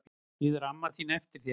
Bíður amma þín eftir þér?